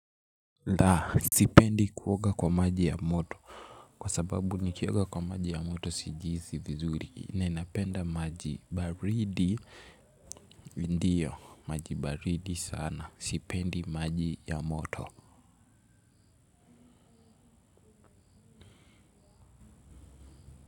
Laa. Sipendi kuoga kwa maji ya moto. Kwa sababu nikioga kwa maji ya moto sijihisi vizuri. Naninapenda maji baridi. Ndiyo. Maji baridi sana. Sipendi maji ya moto.